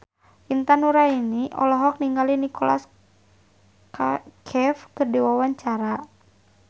Intan Nuraini olohok ningali Nicholas Cafe keur diwawancara